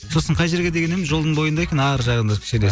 сосын қай жерге деген едім жолдың бойында екен арғы жағында кішкене